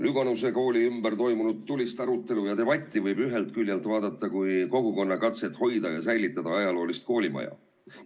Lüganuse kooli ümber toimunud tulist arutelu võib ühest küljest vaadata kui kogukonna katset hoida ja säilitada ajaloolist koolimaja.